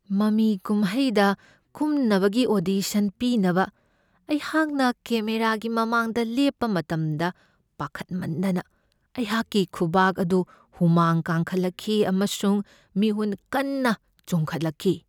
ꯃꯃꯤ ꯀꯨꯝꯍꯩꯗ ꯀꯨꯝꯅꯕꯒꯤ ꯑꯣꯗꯤꯁꯟ ꯄꯤꯅꯕ ꯑꯩꯍꯥꯛꯅ ꯀꯦꯃꯦꯔꯥꯒꯤ ꯃꯃꯥꯡꯗ ꯂꯦꯞꯄ ꯃꯇꯝꯗ ꯄꯥꯈꯠꯃꯟꯗꯅ ꯑꯩꯍꯥꯛꯀꯤ ꯈꯨꯕꯥꯛ ꯑꯗꯨ ꯍꯨꯃꯥꯡ ꯀꯥꯡꯈꯠꯂꯛꯈꯤ ꯑꯃꯁꯨꯡ ꯃꯤꯍꯨꯟ ꯀꯟꯅ ꯆꯣꯡꯈꯠꯂꯛꯈꯤ꯫